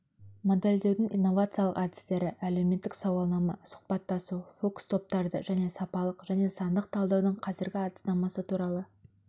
модельдеудің инновациялық әдістері әлеуметтік сауалнама сұхбаттасу фокус-топтарды және сапалық және сандық талдаудың қазіргі әдіснамасы туралы